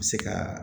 U bɛ se ka